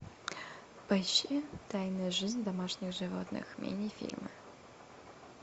поищи тайная жизнь домашних животных мини фильмы